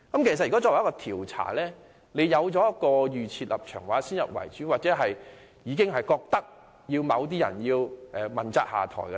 如果在調查前已有預設立場，又或先入為主覺得某些人必須問責下台......